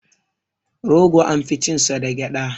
Rogo an fi cin sa da gyaɗa.